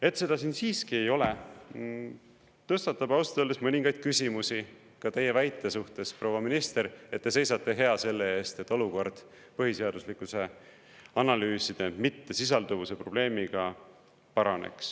Et seda siin siiski ei ole, tõstatab ausalt öeldes mõningaid küsimusi ka teie väite suhtes, proua minister, et te seisate hea selle eest, et olukord põhiseaduslikkuse analüüside mittesisalduvuse probleemiga paraneks.